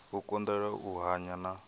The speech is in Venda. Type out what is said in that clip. u konḓelela u hanya na